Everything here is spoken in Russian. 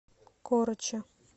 корочи